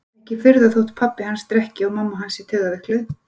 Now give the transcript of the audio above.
Ekki furða þótt pabbi hans drekki og mamma hans sé taugaveikluð